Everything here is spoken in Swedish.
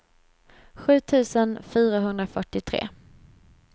sju tusen fyrahundrafyrtiotre